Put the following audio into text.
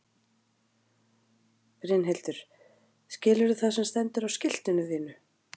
Brynhildur: Skilurðu það sem stendur á skiltinu þínu?